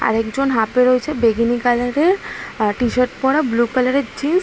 আরেকজন হাপে রয়েছে বেগেনি কালারের আ টি-শার্ট পরা ব্লু কালারের জিন্স --